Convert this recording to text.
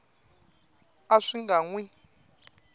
a swi nga n wi